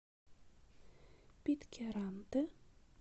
питкяранте